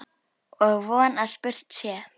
Og von að spurt sé.